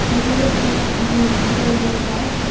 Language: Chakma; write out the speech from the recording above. se hure gaj agon bor bor gaj.